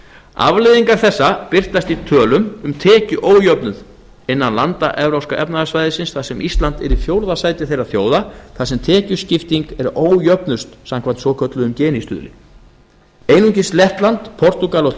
afleiðingar þessa birtast í tölum um tekjuójöfnuð innan landa evrópska efnahagssvæðisins þar sem ísland er í fjórða sæti þeirra þjóða þar sem tekjuskipting er ójöfnust samkvæmt svokölluðum gini stuðli einungis lettland portúgal og